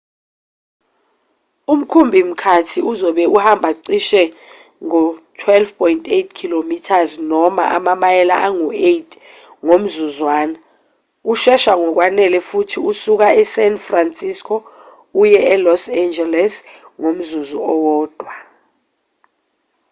umkhumbi-mkhathi uzobe uhamba cishe ngo-12.8 km noma amamayela angu-8 ngomzuzwana ushesha ngokwanele ukuthi ungasuka e-san francisco uye e-los angeles ngomzuzu owodwa